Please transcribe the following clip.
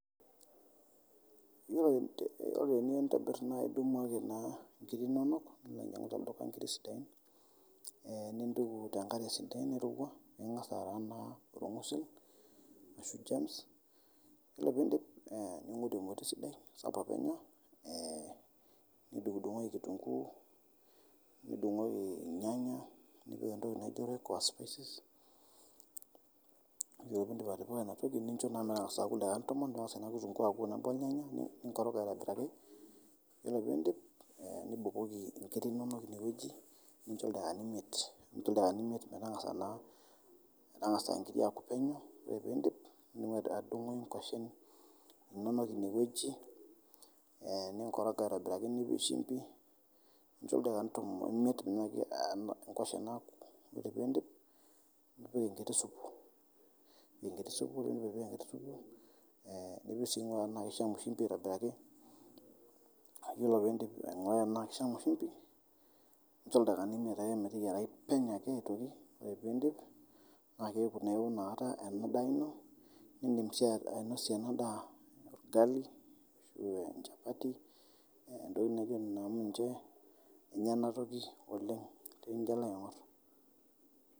Ore iniyeu nitobir naa idumu ake inkiri inonok ninyang'u te lduka nkirri sidain nintuku te nkare sidai nairewua ore piindip ningoru emoti sidai sapuk enya ,nidung'dung'oki ekitunguu nidung'oki inyanya, nipik ntoki naji royco aa spices, ore piindip atipika ina toki nicho metanagasa aaku ldakikani tomon metangasa naa kitungu aku tenebo olnyanya ninkoroga aitobiraki ,iyolo piidnip nibukoki inkiri inonok ine weji nincho ldakikani imiet metangasa nkiri aaku peneu ,ore piidipnidungoki ngoshen inonok ine weji ninkorong aitobiraki nipik shumpi, nincho ldakikani tomon o imiet meinyaaki ngoshen aaku ,ore piindip nipiki nkiti supu nichil si ienaa keichamu shumbi aitobiraki, iyolo piindip ainguraa anaa keishamu shumbi nincho ldakikani imiet meteyarai ake peneu aitoki, ore piindip naa keaku eoo inakata ana daa ino niindim sii ainosie ana daa lgali chapati entoki naji emiinji enya ana toki oleng tinijo alo aing'orr.